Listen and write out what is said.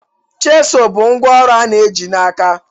Chisụl bụ ngwá ọrụ a na-eji n'aka.